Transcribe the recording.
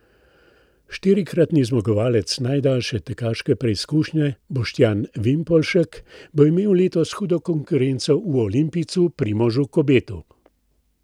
Štirikratni zmagovalec najdaljše tekaške preizkušnje Boštjan Vimpolšek bo imel letos hudo konkurenco v olimpijcu Primožu Kobetu.